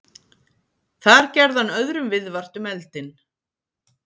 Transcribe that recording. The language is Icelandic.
Þar gerði hann öðrum viðvart um eldinn.